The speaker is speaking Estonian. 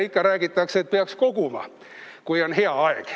Ikka räägitakse, et peaks koguma, kui on hea aeg.